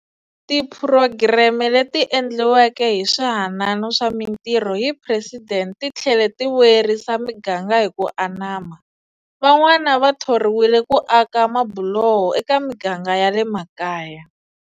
Tiphurogireme leti endliweke hi Swihanano swa Mitirho hi Presidente ti tlhele ti vuyerisa miganga hi ku anama. Van'wana va thoriwile ku aka mabuloho eka miganga ya le makaya.